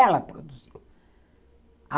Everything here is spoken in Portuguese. Ela produziu.